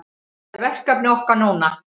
Það er verkefni okkar núna